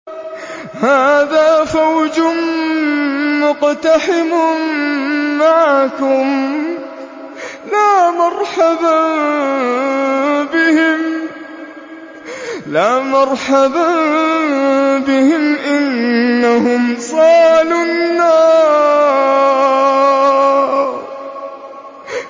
هَٰذَا فَوْجٌ مُّقْتَحِمٌ مَّعَكُمْ ۖ لَا مَرْحَبًا بِهِمْ ۚ إِنَّهُمْ صَالُو النَّارِ